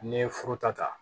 N'i ye foro ta